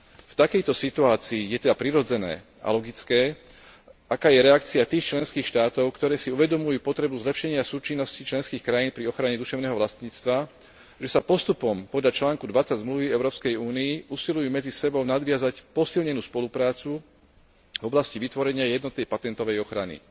V takejto situácii je teda prirodzené a logické, aká je reakcia tých členských štátov, ktoré si uvedomujú potrebu zlepšenia súčinnosti členských krajín pri ochrane duševného vlastníctva, že sa postupom podľa článku 20 Zmluvy Európskej únie usilujú medzi sebou nadviazať posilnenú spoluprácu v oblasti vytvorenia jednotnej patentovej ochrany.